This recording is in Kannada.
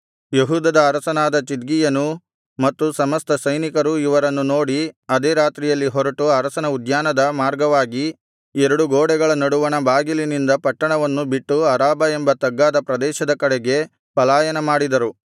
ಯೆಹೂದದ ಅರಸನಾದ ಚಿದ್ಕೀಯನೂ ಮತ್ತು ಸಮಸ್ತ ಸೈನಿಕರೂ ಇವರನ್ನು ನೋಡಿ ಅದೇ ರಾತ್ರಿಯಲ್ಲಿ ಹೊರಟು ಅರಸನ ಉದ್ಯಾನದ ಮಾರ್ಗವಾಗಿ ಎರಡು ಗೋಡೆಗಳ ನಡುವಣ ಬಾಗಿಲಿನಿಂದ ಪಟ್ಟಣವನ್ನು ಬಿಟ್ಟು ಅರಾಬಾ ಎಂಬ ತಗ್ಗಾದ ಪ್ರದೇಶದ ಕಡೆಗೆ ಪಲಾಯನ ಮಾಡಿದರು